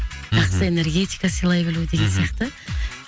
мхм жақсы энергетика сыйлай білу мхм деген сияқты